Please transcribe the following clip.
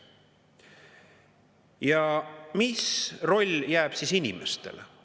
Ja mis roll jääb siis inimestele?